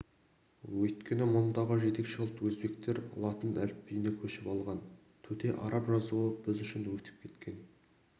өйткені мұндағы жетекші ұлт өзбектер латын әліпбиіне көшіп алған төте араб жазуы біз үшін өтіп кеткен